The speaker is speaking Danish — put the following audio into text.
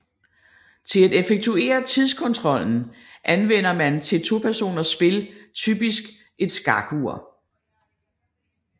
Til at effektuere tidskontrollen anvender man til topersoners spil typisk et skakur